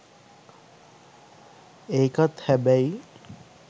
ඒකත් හැබැයි